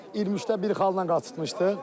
23-də bir xalla qaçırtmışdıq.